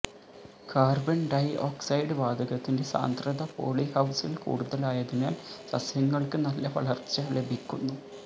carbon dioxide വാതകത്തിന്റെ സാന്ദ്രത പോളിഹൌസില് കൂടുതലായതിനാല് സസ്യങ്ങള്ക്ക് നല്ല വളര്ച്ച ലഭിക്കുന്നു